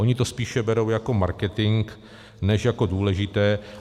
Oni to spíše berou jako marketing než jako důležité.